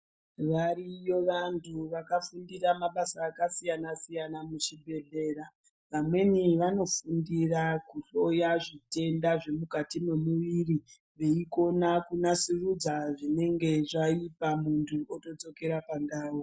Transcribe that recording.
Variyo vantu vakafundira mabasa akasiyana-siyana muzvibhehlera. Vamweni vanofundira kuhloya zvitenda zvemukati memuviri, veikona kunasurudza zvinhu zvinenge zvaipa muntu otodzokera pandau.